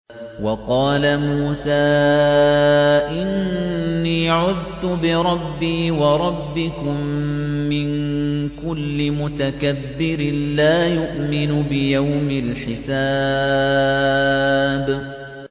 وَقَالَ مُوسَىٰ إِنِّي عُذْتُ بِرَبِّي وَرَبِّكُم مِّن كُلِّ مُتَكَبِّرٍ لَّا يُؤْمِنُ بِيَوْمِ الْحِسَابِ